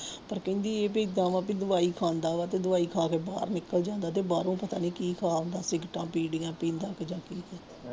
ਪਰ ਕਹਿੰਦੀ ਵੀ ਗਾਂਹ ਵੀ ਦਵਾਈ ਖਾਦਾ ਵਾ ਤੇ ਦਵਾਈ ਖਾ ਕੇ ਬਾਹਰ ਨਿਕਲ ਜਾਂਦਾ ਤੇ ਬਾਹਰੋਂ ਪਤਾ ਨੀ ਕੀ ਖਾ ਆਉਂਦਾ ਸਿਗਰਟਾਂ ਬੀੜੀਆਂ ਪੀਂਦਾ ਤੇ ਜਾ